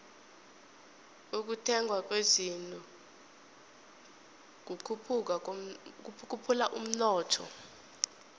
ukuthengwa kwezinto kukhuphula umnotho